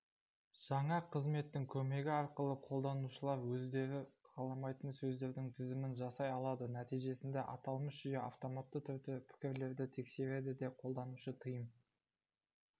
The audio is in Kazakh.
жаңа қызметтің көмегі арқылы қолданушылар өздері қаламайтын сөздердің тізімін жасай алады нәтижесінде аталмыш жүйе автоматты түрде пікірлерді тексереді де қолданушы тыйым